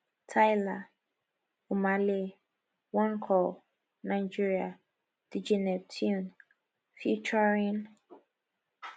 tyla omah lay one call nigeria dj neptune ft